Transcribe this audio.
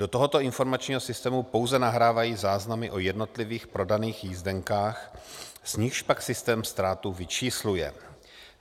Do tohoto informačního systému pouze nahrávají záznamy o jednotlivých prodaných jízdenkách, z nichž pak systém ztrátu vyčísluje.